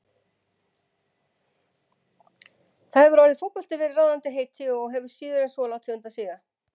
Þar hefur orðið fótbolti verið ráðandi heiti og hefur síður en svo látið undan síga.